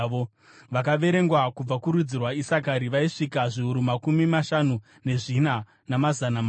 Vakaverengwa kubva kurudzi rwaIsakari vaisvika zviuru makumi mashanu nezvina, namazana mana.